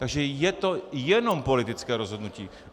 Takže je to jenom politické rozhodnutí.